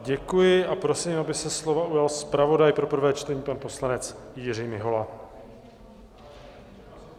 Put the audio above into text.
Děkuji a prosím, aby se slova ujal zpravodaj pro prvé čtení, pan poslanec Jiří Mihola.